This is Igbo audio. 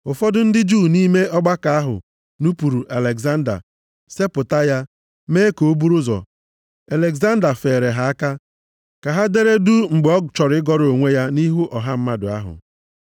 Ụfọdụ ndị Juu nʼime ọgbakọ ahụ nupuru Alegzanda, sepụta ya, mee ka o buru ụzọ. Alegzanda feere ha aka ka ha dere duu mgbe ọ chọrọ ịgọrọ onwe ya nʼihu ọha mmadụ ahụ.